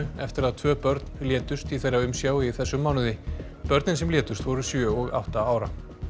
eftir að tvö börn létust í þeirra umsjá í þessum mánuði börnin sem létust voru sjö og átta ára